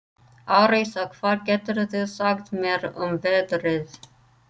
Arisa, hvað geturðu sagt mér um veðrið?